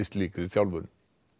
slíkri þjálfun